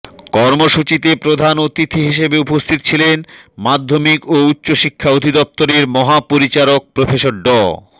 কর্মসূচিতে প্রধান অতিথি হিসেবে উপস্থিত ছিলেন মাধ্যমিক ও উচ্চ শিক্ষা অধিদপ্তর এর মহাপরিচারক প্রফেসর ড